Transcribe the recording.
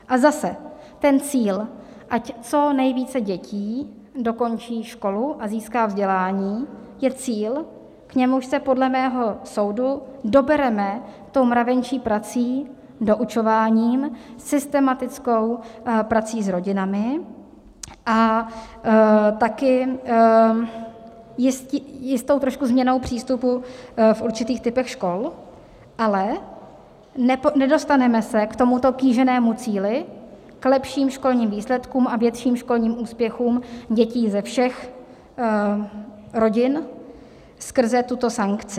A zase ten cíl, ať co nejvíce dětí dokončí školu a získá vzdělání, je cíl, k němuž se podle mého soudu dobereme tou mravenčí prací, doučováním, systematickou prací s rodinami a taky jistou trošku změnou přístupu v určitých typech škol, ale nedostaneme se k tomuto kýženému cíli, k lepším školním výsledkům a větším školní úspěchům dětí ze všech rodin skrze tuto sankci.